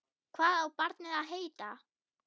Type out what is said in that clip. Hvað á barnið að heita?